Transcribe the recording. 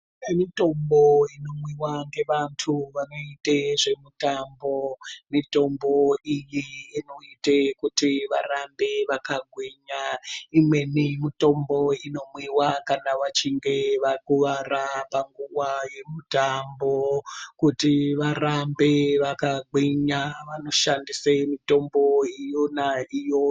Kune mitombo inomwiwa ngevantu vanoite zvemitambo. Mitombo iyi inoite kuti varambe vakagwinya. Imweni mitombo inomwiwa kana vachinge vakuwara panguwa yemitambo kuti varambe vakagwinya, vanoshandise mitombo yona iyoyo.